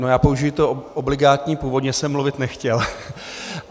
No, já použiji to obligátní: původně jsem mluvit nechtěl.